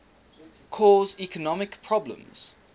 cause economic problems